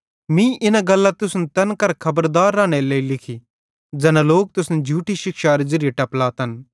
मीं इना गल्लां तुसन तैन करां खबरदार रानेरे लेइ लिखी ज़ैना लोक तुसन झूठी शिक्षारे ज़िरीये टपलातन